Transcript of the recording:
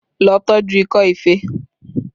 Lọ tọju ikọ́ ife!